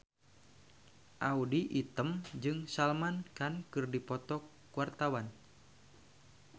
Audy Item jeung Salman Khan keur dipoto ku wartawan